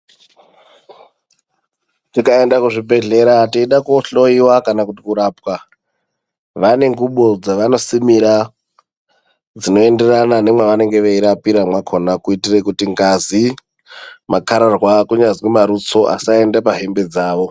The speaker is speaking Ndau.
Tikaenda kuzvibhedhlera teyida kohloyiwa kana kuti kurapwa, vane ngubo dzavanosimira, dzinoenderana nemwavanenge veirapira mwakona kuitire kuti ngazi, makararwa kunyazwi marutso asaende pahembe dzavo.